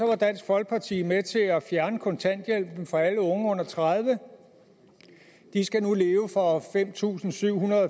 var dansk folkeparti med til at fjerne kontanthjælpen for alle unge under tredive år de skal nu leve for fem tusind syv hundrede